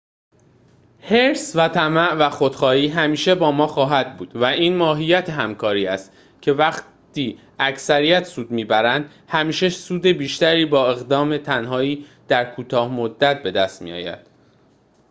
حرص و طمع و خودخواهی همیشه با ما خواهد بود و این ماهیت همکاری است که وقتی اکثریت سود می‌برند همیشه سود بیشتری با اقدام تنهایی در کوتاه مدت بدست می‌آید